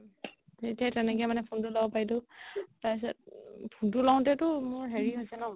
তেতিয়া তেনেকে মানে phone টো ল'ব পাৰিলো তাৰ পিছত phone টো লওতে মোৰ হেৰি হৈছে ন